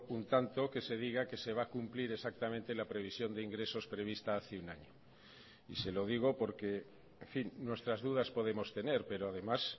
un tanto que se diga que se va a cumplir exactamente la previsión de ingresos prevista hace un año y se lo digo porque en fin nuestras dudas podemos tener pero además